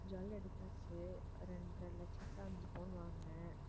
jewel எடுத்தாச்சு இரண்டரை லட்சத்துல அஞ்சு பவுன் வாங்கினேன்